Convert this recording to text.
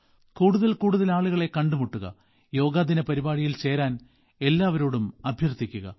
കൂടുതൽ കൂടുതൽ ആളുകളെ കണ്ടുമുട്ടുക യോഗ ദിന പരിപാടിയിൽ ചേരാൻ എല്ലാവരോടും അഭ്യർത്ഥിക്കുക